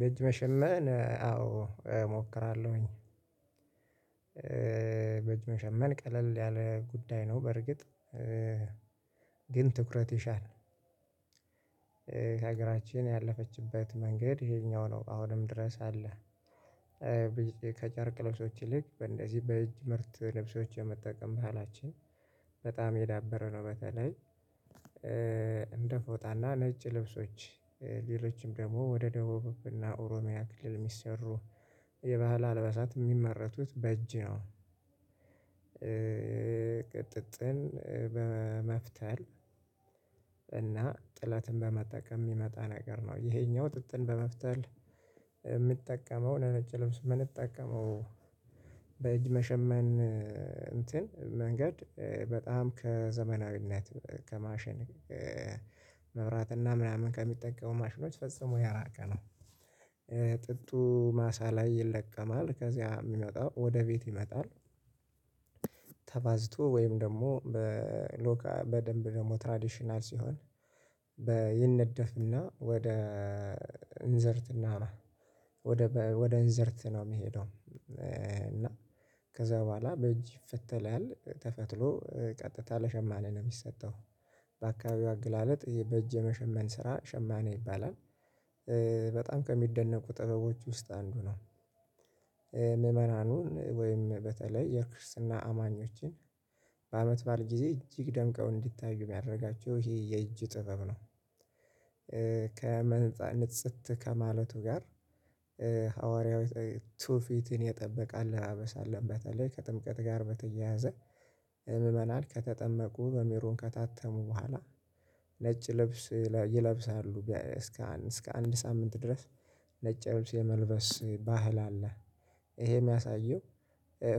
በጅ መሸመን አዎ እሞክራለሁኝ። በጅ መሸመን ቀለል ያለ ጉዳይ ነው በርግጥ። ግን ትኩረት ይሻል። ሀገራችን ያለፈችበት መንገድ ይሄኛው ነው አሁንም ድረስ አለ። ከጨርቅ ልብሶች ይልቅ በእንደዚህ በእጅ ምርት ልብሶች የመጠቀም መሃላችን በጣም የዳበረ ነው በተለይ እንደ ፎጣና ነጭ ልብሶች። ሌሎችም ደግሞ ወደ ደቡብ እና ኦሮሚያ ክልል የሚሰሩ የባህል አልበሳት የሚመረቱት በእጅ ነው። ቅ ጥጥን በመፍተል እና ጥለትን በመጠቀም የሚመጣ ነገር ነው። ይሄኛው ጥጥን በመፍተል የምጠቀመው ለነጭ ልብስ ምንጠቀመው በእጅ መሸመን እንትን መንገድ በጣም ከዘመናዊነት ከማሽን መብራት እና ምናምን ከሚጠቀሙ ማሽኖች ፈጽሞ ያራቀ ነው። ጥጡ ማሳ ላይ ይለቀማል። ከዚያ የሚመጣው ወደ ቤት ይመጣል። ተባዝቶ ወይም ደግሞ በ'ሎካል' በደንብ ደግሞ 'ትራዴሽናል' ሲሆን በ ይነደፍና ወደ እንዝርት እና ወደ ወደ እንዝርት ነው የሚሄደው። እና ከዛ በኋላ በእጅ ይፈተላል። ተፈትሎ ቀጥታ ለሸማኔ ነው የሚሰጠው። በአካባቢው አገላለጥ ይሄ በእጅ የመሸመን ስራ ሸማኔ ይባላል። በጣም ከሚደነቁ ጥበቦች ውስጥ አንዱ ነው። ምዕመናኑን ወይም በተለይ የክርስትና አማኞችን በአመት ባእል ጊዜ እጅግ ደምቀው እንዲታዩ የሚያደርጋቸው ይሄ የእጅ ጥበብ ነው። ከመነጻነት ጽት ከማለቱ ጋር ሐዋርያው ቱፊትን የጠበቀ አለባበስ አለ። በተለይ ከጥምቀት ጋር በተያያዘ እ ምመናን ከተጠመቁ በሜሮን ከታጠቡ በኋላ ነጭ ልብስ ይለብሳሉ እስከ አንድ ሳምንት ድረስ ነጭ ልብስ የመልበስ ባህል አለ። ይሄ የሚያሳየው